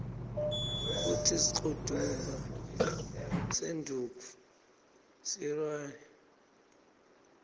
kutsi sikltumba senduntfu siryari